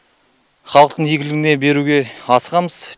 халықтың игілігіне беруге асығамыз